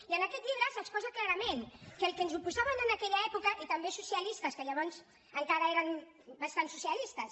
i en aquest llibre s’exposa clarament que al que ens oposàvem en aquella època i també socialistes que llavors encara eren bastant socialistes